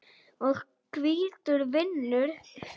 og hvítur vinnur.